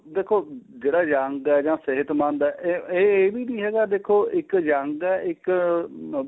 ਦੇਖੋ ਜਿਹੜਾ young ਏ ਜਾਂ ਸਿਹਤਮੰਦ ਏ ਇਹ ਵੀ ਨਹੀਂ ਹੈਗਾ ਦੇਖੋ ਇੱਕ young ਏ ਇੱਕ ਅਹ